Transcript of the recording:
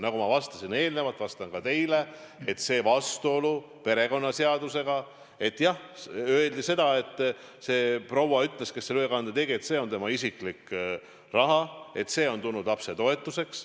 Nagu ma enne vastasin, ütlen ka teile, et see vastuolu perekonnaseadusega – jah, öeldi seda, see proua ütles, kes selle ülekande tegi, et see on tema isiklik raha, et see on tulnud lapse toetuseks.